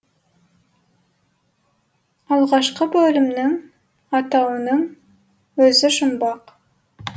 алғашқы бөлімнің атауының өзі жұмбақ